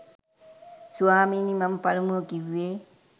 ස්වාමීනි මම පළමුව කිවුවේ